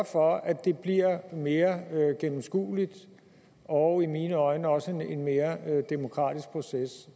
for at det bliver en mere gennemskuelig og i mine øjne også mere demokratisk proces